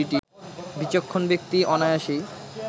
বিচক্ষণ ব্যক্তি অনায়াসেই